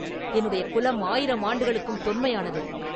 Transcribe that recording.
என்னுடைய குலம் ஆயிரம் ஆண்டுகளுக்கும் தொன்மையானது.